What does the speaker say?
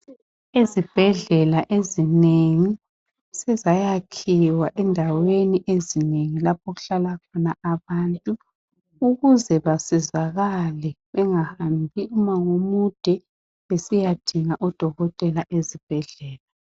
Izibhedlela ezinengi sezayakhiwa endaweni ezinengi lapho okuhlala khona abantu ukuze basizakale bengahambi umango omude besiyadinga odokotela ezibhedlela